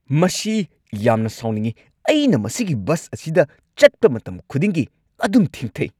ꯃꯁꯤ ꯌꯥꯝꯅ ꯁꯥꯎꯅꯤꯡꯉꯤ! ꯑꯩꯅ ꯃꯁꯤꯒꯤ ꯕꯁ ꯑꯁꯤꯗ ꯆꯠꯄ ꯃꯇꯝ ꯈꯨꯗꯤꯡꯒꯤ ꯑꯗꯨꯝ ꯊꯦꯡꯊꯩ꯫